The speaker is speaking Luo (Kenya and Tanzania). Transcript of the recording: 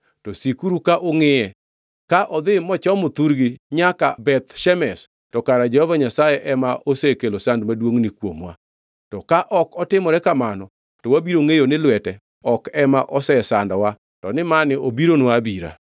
to sikuru ka ungʼiye. Ka odhi mochomo thurgi nyaka, Beth Shemesh, to kara Jehova Nyasaye ema osekelo sand maduongʼni kuomwa. To ka ok otimore kamano to wabiro ngʼeyo ni lwete ok ema osesandowa to ni mani obironwa abira.”